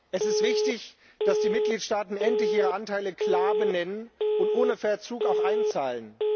Es ist wichtig, dass die Mitgliedsstaaten endlich ihre Anteile klar benennen und ohne Verzug auch einzahlen.